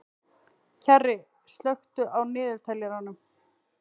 Kjarri, slökktu á niðurteljaranum.